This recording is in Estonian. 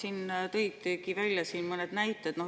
Sa tõid siin välja mõned näited.